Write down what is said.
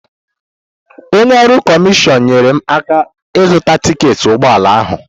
Onye ọrụ kọmishọn nyeere m aka ịzụta tiketi ụgbọala ahụ.